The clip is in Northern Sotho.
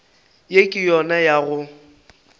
ye ke yona ya go